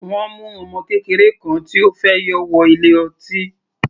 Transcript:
Wọ́n mu ọmọ kékeré kan tí ó fẹ́ yọ wọ ilé ọtí.